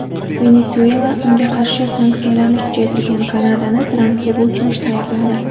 Venesuela unga qarshi sanksiyalarni kuchaytirgan Kanadani Trampga bo‘ysunishda aybladi.